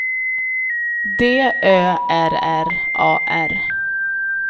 D Ö R R A R